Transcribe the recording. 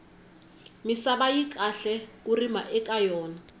misava yi kahle ku rima eka yona